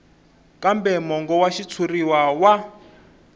kambe mongo wa xitshuriwa wa